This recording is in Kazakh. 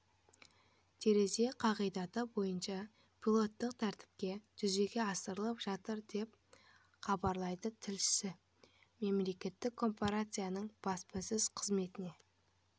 терезе қағидаты бойынша пилоттық тәртіпте жүзеге асырылып жатыр деп хабарлайды тілшісі мемлекеттік корпорацияның баспасөз қызметіне